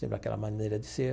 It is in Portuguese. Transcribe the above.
Sempre aquela maneira de ser.